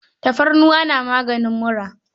Tafarnuwa na maganin mura.